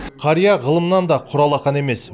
қария ғылымнан да құралақан емес